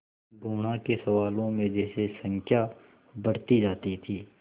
गुणा के सवालों में जैसे संख्या बढ़ती जाती थी